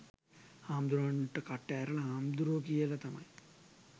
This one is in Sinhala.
හාමුදුරුවන්ට කට ඇරලා හාමුදුරුවෝ කියල තමයි